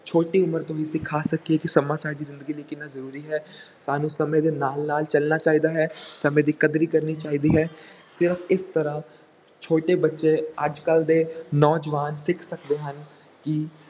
ਛੋਟੀ ਉਮਰ ਤੋਂ ਹੀ ਸਿਖਾ ਸਕੀਏ ਕਿ ਸਮਾਂ ਸਾਡੀ ਜ਼ਿੰਦਗੀ ਲਈ ਕਿੰਨਾ ਜ਼ਰੂਰੀ ਹੈ ਸਾਨੂੰ ਸਮੇਂ ਦੇ ਨਾਲ ਨਾਲ ਚੱਲਣਾ ਚਾਹੀਦਾ ਹੈ, ਸਮੇਂ ਦੀ ਕਦਰੀ ਕਰਨੀ ਚਾਹੀਦੀ ਹੈ, ਤੇ ਇਸ ਤਰ੍ਹਾਂ ਛੋਟੇ ਬੱਚੇ ਅੱਜ ਕੱਲ੍ਹ ਦੇ ਨੌਜਵਾਨ ਸਿੱਖ ਸਕਦੇ ਹਨ ਕਿ